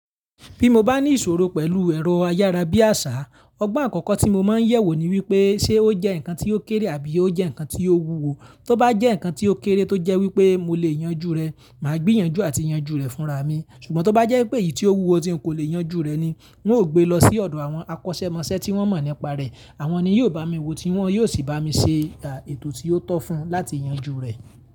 Bí mo bá ní ìṣòro pẹ̀lú ẹ̀rọ ayárabíàṣá, ọgbọ́n àkọ́kọ́ tí mo máa ń yẹ̀wò ni wípé ṣe ó jẹ́ ǹkan tí ó kéré àbí ó jẹ́ ǹkan tí ó wúwo. Tóbá jẹ́ ǹkan tí ó kéré tó jẹ́ wípé mo lè yanjú rẹ̀, màá gbé yanjú àti yanjú rẹ̀ fúnra mi. Ṣùgbọ́n tó bá jẹ́ pé èyí tí ó wúwo tí ń kò lè yanjú rẹ̀ ni, n ó gbe lọ sí ọ̀dọ̀ àwọn akọ́ṣẹ́mọṣẹ́ tí wọ́n mọ̀ nípa rẹ̀. Àwọn ni yóò bá mi wò tí wọ́n yóò sì bá mi ṣe ètò tí ó tọ́ fún láti yanjú rẹ̀.